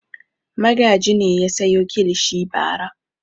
Magaji ne ya sayo kilishi bara.